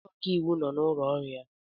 Onye ọka iwu nọ n'ụlọ ọrụ ya?